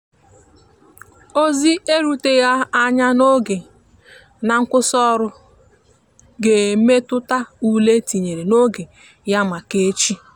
ozi e ruteghi anya n'oge na nkwụsi ọrụ ga emetụta ụle etinyere oge ya maka echi.